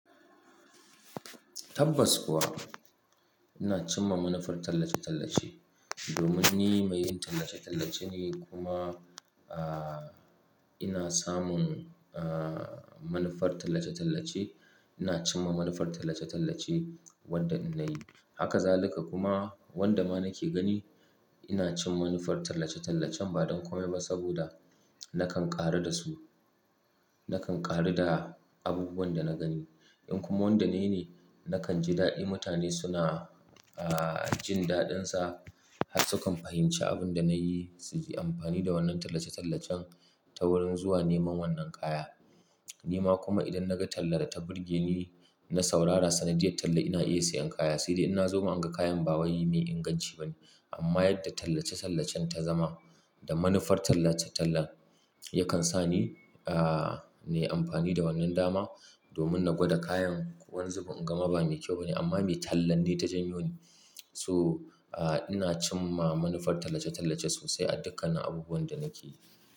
Tabbas kuwa ina cimma manufar tallace-tallace domin ni mai yin tallace-tallace ne kuma, ah, ina samun, ah, manufar tallace-tallace. Ina cimma manufar tallace-tallace wanda ina yi. Haka zalika kuma wanda ma nake gani ina cin manufar tallace-tallacen ba don kome ba saboda nakan ƙaru da su, nakan ƙaru da abubuwan da na gani. In kuma wanda nayi ne, nakan ji daɗi mutane suna, ah, jin daɗinsa har sukan fahimci abin da na yi, su yi amfani da wannan tallace-tallacen ta wurin zuwa neman wannan kaya. Ni ma kuma idan naga tallar da ta burge ni, na saurara sa, na jiya talla ina iya sayan kaya. Sai dai in na zo ma an ga kayan ba wai mai inganci ba ne. Amma yadda tallace-tallacen ta zama da manufar tallace-tallan yakan sa ni, ah, na yi amfani da wannan dama domin na gwada kayan wanzu. In gama ba mai kyau ba ne amma mai tallan ne ta janyo ni. So ah ina cimma manufar tallace-tallace sosai a dukkan nin abubuwan da nake yi.